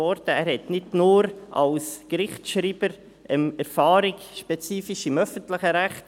Er hat nicht nur Erfahrung als Gerichtsschreiber spezifisch im öffentlichen Recht;